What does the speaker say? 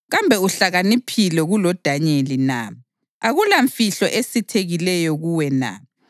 Kambe uhlakaniphile kuloDanyeli na? Akulamfihlo esithekileyo kuwe na?